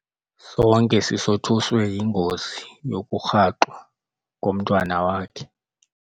Sonke sisothuswe yingozi yokurhaxwa komntwana wakhe.